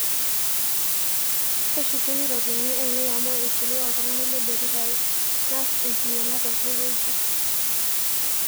keshukuni ropiyani ainei amu eishelewe oltungani le delivery naas enkinyaga tenkae wueji